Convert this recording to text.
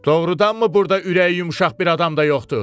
Doğrudanmı burda ürəyi yumşaq bir adam da yoxdur?